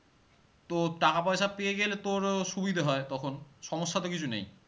তো টাকা পয়সা পেয়ে গেলে তোরও সুবিধা হয় তখন সমস্যা তো কিছু নেই